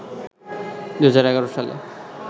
২০১১ সালে